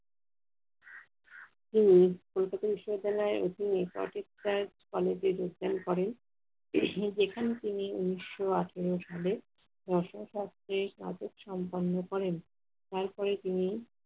তিনি কলকাতা বিশ্ববিদ্যালয় college এ ঢোকেন করেন। যেখানে তিনি উনিশশো আঠারো সালে রসায়নতত্ত্বে স্নাতক সম্পন্ন করেন। তারপরে তিনি